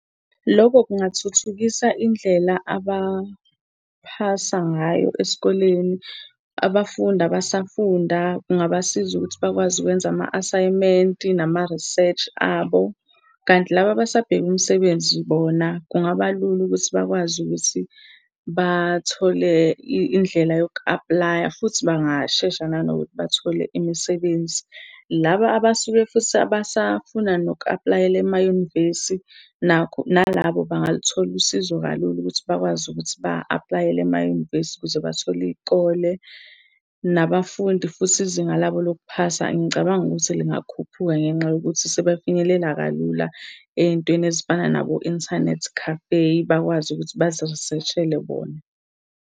Loko kungathuthukisa indlela abaphasa ngayo esikoleni. Abafundi abasafunda kungabasiza ukuthi bakwazi ukwenza ama-asayimenti nama-research abo. Kanti laba abasabheke umsebenzi bona kungabalula ukuthi bakwazi ukuthi bathole indlela yoku-apply-a, futhi bangashesha nanokuthi bathole imisebenzi. Laba abasuke futhi abasafuna noku-apply-ela emayunivesi, nakho, nalabo bangalithola usizo kalula ukuthi bakwazi ukuthi ba-apply-ele emayunivesi ukuze bathole iy'kole. Nabafundi futhi izinga labo lokuphasa ngicabanga ukuthi lingakhuphuka ngenxa yokuthi sebefinyelela kalula ey'ntweni ezifana nabo-inthanethi cafe, bakwazi ukuthi bazi-research-ele bona.